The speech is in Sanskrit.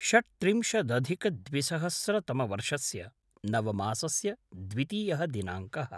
षट्त्रिंशदधिकद्विसहास्रतमवर्षस्य नवमासस्य द्वितीयः दिनाङ्कः